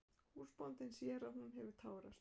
Húsbóndinn sér að hún hefur tárast.